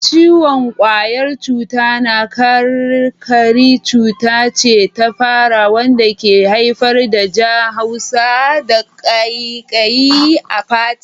Ciwon ƙwayar cuta na karkari cuta ce ta fata wanda ke haifar da ja, haushi, da ƙaiƙayi a fata.